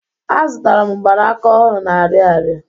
Azutara m mgbanaka ọhụrụ n'Ariaria.